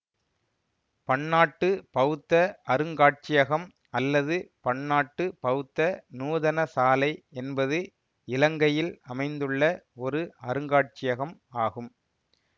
பன்னாட்டு பௌத்த அருங்காட்சியகம் அல்லது பன்னாட்டு பௌத்த நூதனசாலை என்பது இலங்கையில் அமைந்துள்ள ஒரு அருங்காட்சியகம் ஆகும்